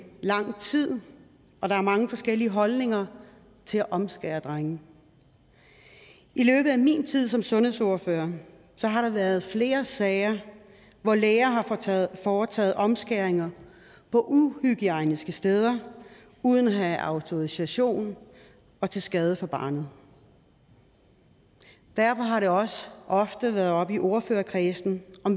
lang tid og der er mange forskellige holdninger til at omskære drenge i løbet af min tid som sundhedsordfører har der været flere sager hvor læger har foretaget omskæringer på uhygiejniske steder uden at have autorisation og til skade for barnet derfor har det også ofte været oppe i ordførerkredsen